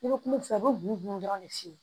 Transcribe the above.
I bɛ kuma fɔ i bɛ buguni dɔrɔn de f'i ye